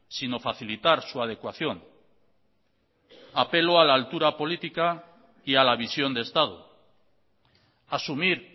sino facilitar su adecuación apelo a la altura política y a la visión de estado asumir